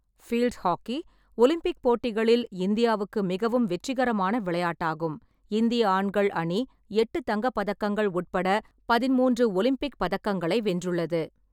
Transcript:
Field hockey Olympic போட்டிகளில் இந்தியாவுக்கு மிகவும் வெற்றிகரமான விளையாட்டாகும், இந்திய ஆண்கள் அணி எட்டு தங்கப் பதக்கங்கள் உட்பட பதின்மூன்று ஒலிம்பிக் பதக்கங்களை வென்றுள்ளது.